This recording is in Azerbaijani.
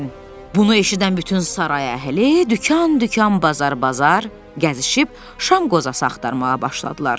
Bunu eşidən bütün saray əhli dükan-dükan, bazar-bazar gəzişib şam qozası axtarmağa başladılar.